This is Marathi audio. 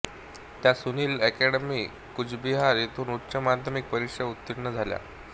त्या सुनील एकॅडमी कूचबिहार येथून उच्च माध्यमिक परीक्षा उत्तीर्ण झाल्या